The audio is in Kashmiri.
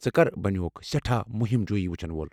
ژٕ كر بنیوكھ سیٹھاہ مُہِم جوٗیی وُچھن وول ؟